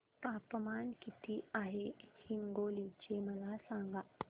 तापमान किती आहे हिंगोली चे मला सांगा